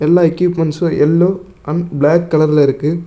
எல்லா equipments yellow and black கலர்ல இருக்கு.